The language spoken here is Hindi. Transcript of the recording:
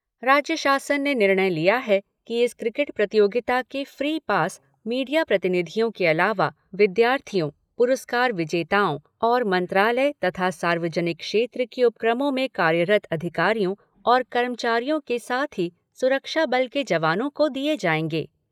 राज्य शासन ने निर्णय लिया है कि इस क्रिकेट प्रतियोगिता के फ्री पास मीडिया प्रतिनिधियों के अलावा विद्यार्थियों, पुरस्कार विजेताओं और मंत्रालय तथा सार्वजनिक क्षेत्र के उपक्रमों में कार्यरत अधिकारियों और कर्मचारियों के साथ ही सुरक्षा बल के जवानों को दिए जाएंगे।